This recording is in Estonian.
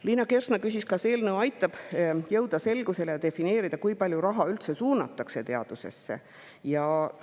Liina Kersna küsis, kas eelnõu aitab jõuda selgusele ja, kui palju raha teadusesse üldse suunatakse.